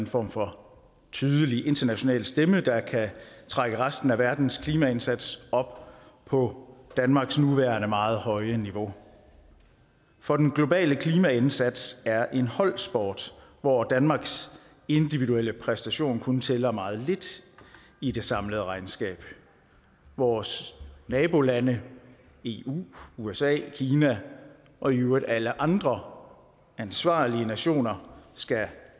form for tydelig international stemme der kan trække resten af verdens klimaindsats op på danmarks nuværende meget høje niveau for den globale klimaindsats er en holdsport hvor danmarks individuelle præstation kun tæller meget lidt i det samlede regnskab vores nabolande eu usa kina og i øvrigt alle andre ansvarlige nationer skal